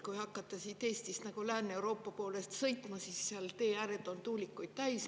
Kui hakata siit Eestist Lääne-Euroopa poole sõitma, siis seal on teeääred tuulikuid täis.